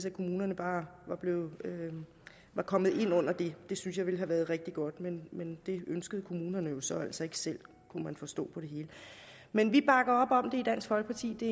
at kommunerne bare var kommet ind under det det synes jeg ville have været rigtig godt men det ønskede kommunerne jo så altså ikke selv kunne man forstå på det hele men vi bakker op om det i dansk folkeparti det